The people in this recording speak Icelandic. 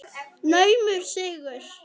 Naumur sigur.